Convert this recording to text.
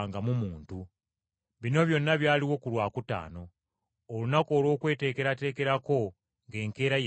Bino byonna byaliwo ku Lwakutaano, olunaku olw’okweteekerateekerako ng’enkeera ye Ssabbiiti.